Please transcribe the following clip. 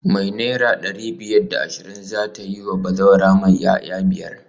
Me naira dari biyar da ashirin zata yiwa bazawara mai 'ya'ya biyar?